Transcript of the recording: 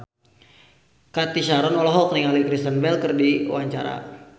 Cathy Sharon olohok ningali Kristen Bell keur diwawancara